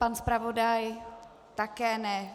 Pan zpravodaj také ne.